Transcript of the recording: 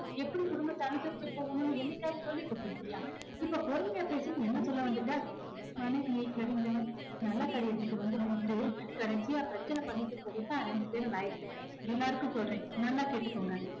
எப்படி குடும்பத்தை அனுசரிச்சு போகணும்னு என்னைக்காவது சொல்லிக் குடுத்து இருக்கியா. இப்ப பொறுமையா பேசுன்னு என்னை சொல்ல வந்துட்ட நல்ல காரியத்துக்கு வந்து நின்னுட்டு கடைசியா பிரச்சனை பண்ணிட்டு போக தான் ரெண்டு பேரும் லாயக்கு எல்லாருக்கும் சொல்றேன் நல்லா கேட்டுக்கோங்க